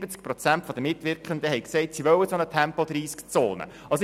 70 Prozent der Mitwirkenden haben gesagt, dass sie eine Tempo-30-Zone wollen.